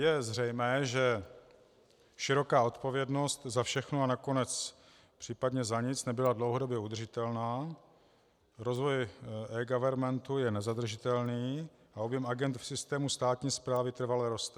Je zřejmé, že široká odpovědnost za všechno a nakonec případně za nic nebyla dlouhodobě udržitelná, rozvoj eGovernmentu je nezadržitelný a objem agend v systému státní správy trvale roste.